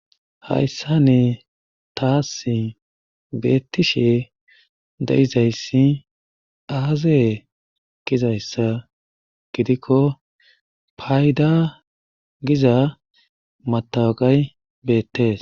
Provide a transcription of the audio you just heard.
hayssa ne taasi beettishe de7izayssi aazee gizayssa gidikko payda giza matawaqay beettees